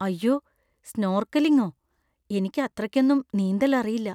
അയ്യോ, സ്‌നോർക്കെലിങ്ങോ? എനിക്ക് അത്രയ്ക്കൊന്നും നീന്തൽ അറിയില്ല.